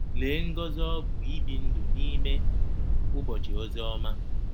Lee ngọzi ọ bụ ibi ndụ n'ime “ụbọchị ozi ọma.”